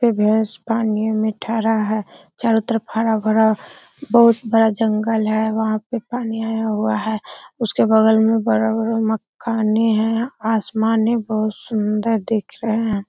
पे भैंस पानी मे थरा है। चारो तरफ हरा-भरा बोहोत बड़ा जंगल है। वहाँ पे पानी आया हुआ है। उसके बगल में बड़ा-बड़ा मकानें हैं। आसमान है बोहोत सुन्दर दिख रहे है।